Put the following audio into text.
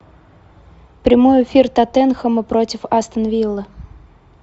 прямой эфир тоттенхэма против астон виллы